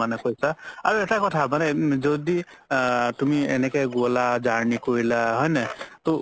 মানে কৈছা আৰু এটা কথা মানে যদি আ তুমি এনেকে গ'লা journey কৰিলা হয় নে নাই ত